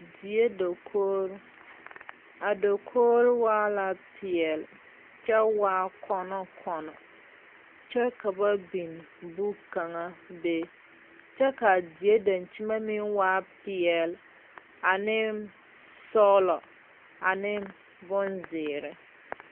Die dakoore. A dakoore waa la piɛle kyɛ waa kɔno kɔno. Kyɛ ka ba biŋ buk kanga be. Kyɛ ka die dankyemɛ meŋ waa piɛle ane sɔglɔ ane bon ziire